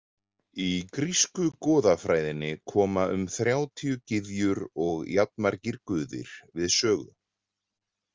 Í grísku goðafræðinni koma um þrjátíu gyðjur og jafnmargir guðir við sögu.